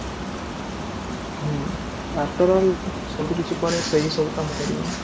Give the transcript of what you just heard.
ହୁଁ afterall ସବୁକିଛି ପରେ ସେ ହିଁ ସବୁ କାମ କରିବ ନା?